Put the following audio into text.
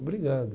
Obrigado.